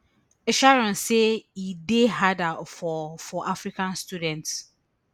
sharon say e dey harder for for african students